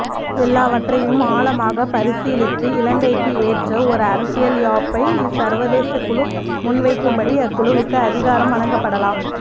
எல்லாவற்றையும் ஆழமாக பரசீலித்து இலங்கைக்கு ஏற்ற ஓர் அரசியல் யாப்பை இச்சர்வதேசக் குழு முன்வைக்கும்படி அக்குழுவுக்கு அதிகாரம் வழங்கப்படலாம்